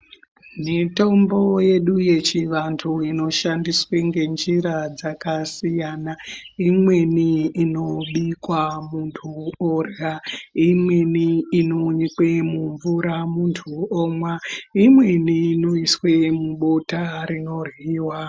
Mitombo yedu yechivantu inoshandiswa ngenjira dzakasiyana. Imweni inobikwa muntu orya. Imweni inonyikwe mumvura muntu omwa. Imweni inoiswa mubota rinoryiwa.